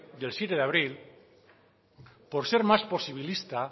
del siete de abril por ser más posibilista